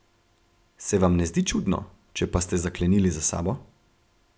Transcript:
Se vam ne zdi čudno, če pa ste zaklenili za sabo?